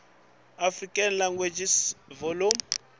african languages volume